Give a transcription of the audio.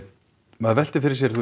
maður veltir fyrir sér þú